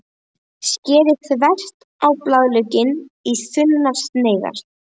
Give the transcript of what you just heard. Skerið þvert á blaðlauk í þunnar sneiðar.